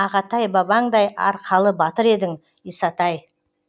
ағатай бабаңдай арқалы батыр едің исатай